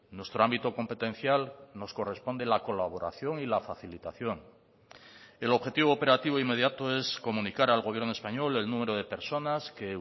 nuestro ámbito competencial nos corresponde la colaboración y la facilitación el objetivo operativo inmediato es comunicar al gobierno español el número de personas que